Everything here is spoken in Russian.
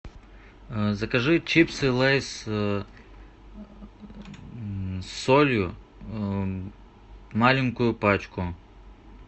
закажи чипсы лейс с солью маленькую пачку